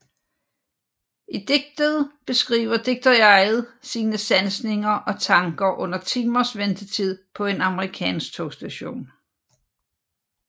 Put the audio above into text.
I digtet beskriver digterjeget sine sansninger og tanker under timers ventetid på en amerikansk togstation